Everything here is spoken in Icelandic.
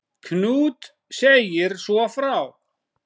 Knud segir svo frá